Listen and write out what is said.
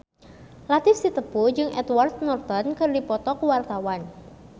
Latief Sitepu jeung Edward Norton keur dipoto ku wartawan